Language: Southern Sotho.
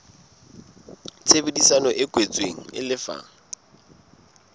tshebedisano e kwetsweng e lefa